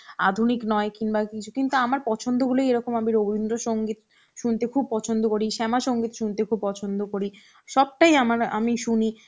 আধুনিক নয় কিনবা কি~ কিছু কিন্তু আমার পছন্দ হলেই আমি এরকম রবীন্দ্র সংগীত শুনতে খুব পছন্দ করি শ্যামা সংগীত শুনতে খুব পছন্দ করি সবটাই আমার আমি শুনি